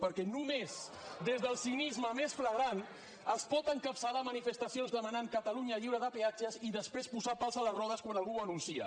perquè només des del cinisme més flagrant es pot encapçalar manifestacions demanant catalunya lliure de peatges i després posar pals a les rodes quan algú ho anuncia